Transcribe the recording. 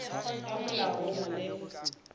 ka molao o na le